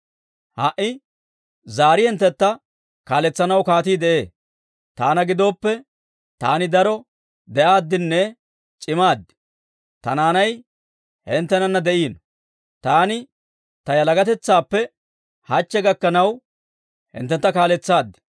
Ha"i zaari hinttentta kaaletsanaw kaatii de'ee. Taana gidooppe, taani daro de'aaddinne c'imaad; ta naanay hinttenana de'iino. Taani ta yalagatetsaappe hachche gakkanaw hinttentta kaaletsaad.